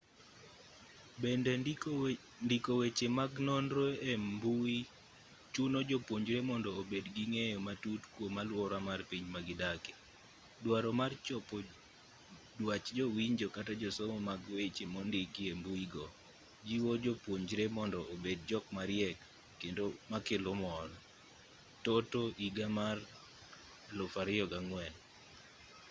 bende ndiko weche mag nonro e mbui chuno jopuonjre mondo obed gi ng'eyo matut kwom aluora mar piny magidake”. duaro mar chopo dwach jowinjo kata josomo mag weche mondiki e mbuigo jiwo jopuonjre mondo obed jok mariek kendo makelo mor toto 2004